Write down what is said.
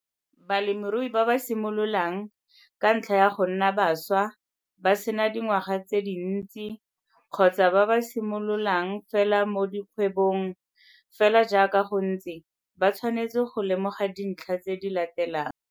Balemirui ba ba simololang, ka ntlha ya go nna baswa, ba se na dingwaga tse dintsi, kgotsa ba ba simololang fela mo bokgwebong, fela jaaka go ntse, ba tshwanetse go lemoga dintlha tse di latelang